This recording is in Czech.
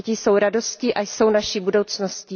Děti jsou radostí a jsou naší budoucností.